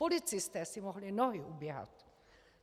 Policisté si mohli nohy uběhat.